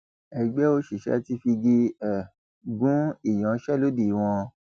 ẹgbẹ òṣìṣẹ ti figi um gún ìyanṣẹlódì wọn